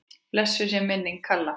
Blessuð sé minning Kalla.